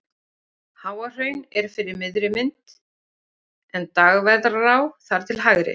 Háahraun er fyrir miðri mynd en Dagverðará þar til hægri.